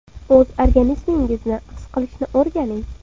O‘z organizmingizni his qilishni o‘rganing.